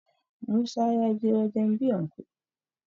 musa ya je wajen biyan kuɗi